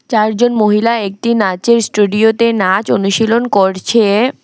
চারজন মহিলা একটি নাচের স্টুডিওতে নাচ অনুশীলন করছে।